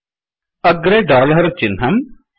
agro dollar चिह्नम्